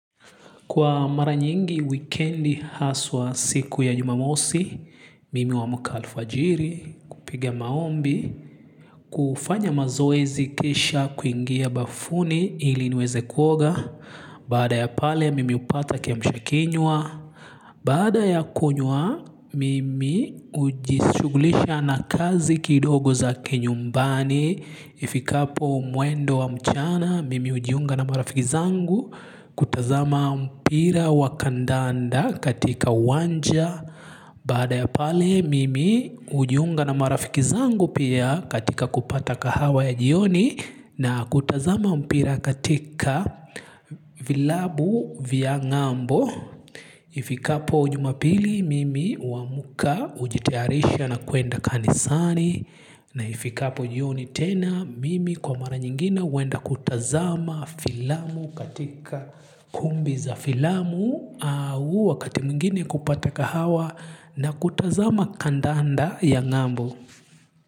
Kwa mara nyingi wikendi haswa siku ya jumamosi, mimi huamka alfajiri, kupiga maombi, kufanya mazoezi kisha kuingia bafuni ili niweze kuoga, baada ya pale mimi hupata kiamsha kinywa. Baada ya kunywa mimi hujishugulisha na kazi kidogo za kinyumbani. Ifikapo mwendo wa mchana mimi hujiunga na marafiki zangu. Kutazama mpira wa kandanda katika uwanja. Baada ya pale mimi hujiunga na marafiki zangu pia katika kupata kahawa ya jioni na kutazama mpira katika vilabu vya ngambo. Ifikapo jumapili mimi huamka hujitayarisha na kuenda kanisani. Na ifikapo jioni tena mimi kwa mara nyingine huenda kutazama filamu katika kumbi za filamu. Au wakati mwingine kupata kahawa na kutazama kandanda ya ngambo.